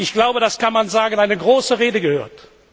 Wir haben ich glaube, das kann man sagen eine große Rede gehört.